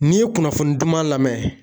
N'i ye kunnafoni duman lamɛ